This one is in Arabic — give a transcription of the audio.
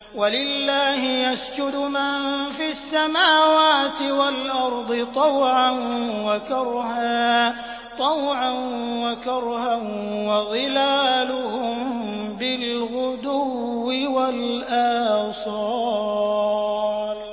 وَلِلَّهِ يَسْجُدُ مَن فِي السَّمَاوَاتِ وَالْأَرْضِ طَوْعًا وَكَرْهًا وَظِلَالُهُم بِالْغُدُوِّ وَالْآصَالِ ۩